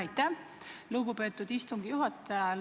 Aitäh, lugupeetud istungi juhataja!